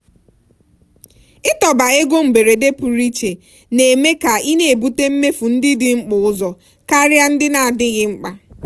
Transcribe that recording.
ịtọba ego mberede pụrụ iche na-eme ka ị na-ebute mmefu ndị dị mkpa ụzọ karịa ihe ndị na-adịghị mkpa.